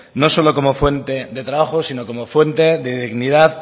no solo como fuente de trabajo sino como fuente de dignidad